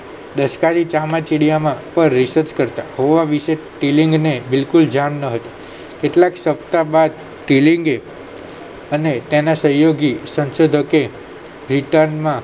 ચામાચીડિયા પાર research કરતા તેલલિંગને બિલકુલ ધ્યાન ના હતું કેટલાક સપ્તાહ બાદ તેલલિંગએ અને તેના સહયોગી સંશોધકે માં